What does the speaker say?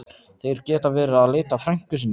Þeir gætu verið að leita að frænku sinni.